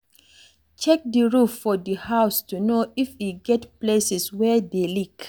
Check di roof for di house to know if e get places wey dey leak